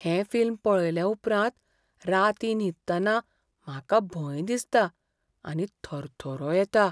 हें फिल्म पळयले उपरांत रातीं न्हिदतना म्हाका भंय दिसता आनी थरथरो येता.